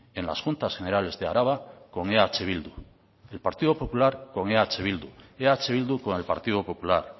en las juntas generales de araba con eh bildu el partido popular con eh bildu eh bildu con el partido popular